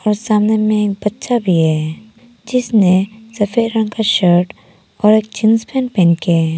और सामने में एक बच्चा भी है जिसने सफेद रंग का शर्ट और जींस पैंट पहन के है।